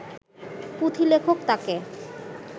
পুঁথিলেখক তাঁকে